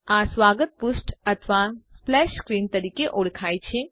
આ સ્વાગત પૃષ્ઠ અથવા સ્પ્લેશ સ્ક્રીન તરીકે ઓળખાય છે